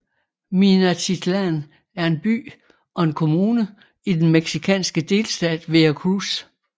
Minatitlán er en by og en kommune i den mexikanske delstat Veracruz